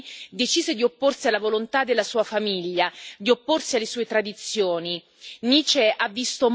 Nice, a soli nove anni, decise di opporsi alla volontà della sua famiglia, di opporsi alle sue tradizioni.